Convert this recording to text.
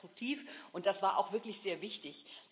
Das war konstruktiv, und das war auch wirklich sehr wichtig.